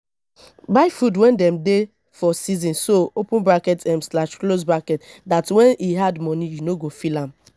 buy food when dem dey for season so um dat when e add money you no go feel am